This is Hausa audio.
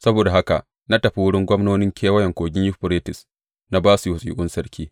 Saboda haka na tafi wurin gwamnonin Kewayen Kogin Yuferites, na ba su wasiƙun sarki.